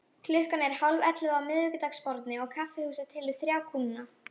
Klukkan er hálfellefu á miðvikudagsmorgni og kaffihúsið telur þrjá kúnna.